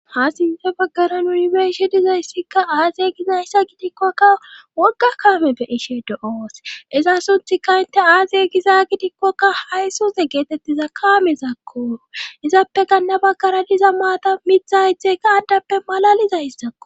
Ha sinte baggara nunibeishi dizayssikka aazey gizayssa gidikkokka wogga kaame be ishe do'oos iza sunthikka inte aazey giza gidikkokka hay suze geetettiza kaame zakko izappe ganna baggara diza maata mitha ythekka addappe malalizays sakko.